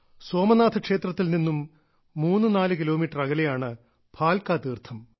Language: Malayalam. സോമനാഥ ക്ഷേത്രത്തിൽ നിന്നും 34 കിലോമീറ്റർ അകലെയാണ് ഭാൽകാ തീർത്ഥം